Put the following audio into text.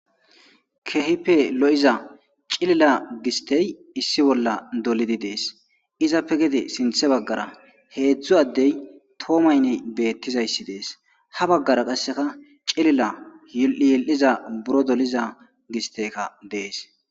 kehipe lo7iza cilila gistey issi bolla dolidi dees izappe gede sinthe baggara heedzdzu addey toomaynney beettizayssi dees ha baggara qasseka cilila yi7yil7iza buro doliza gisteyka dees